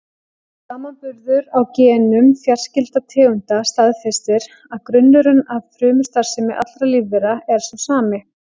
Samanburður á genum fjarskyldra tegunda staðfestir að grunnurinn að frumustarfsemi allra lífvera er sá sami.